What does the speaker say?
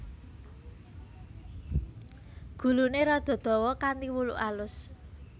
Guluné rada dawa kanthi wulu alus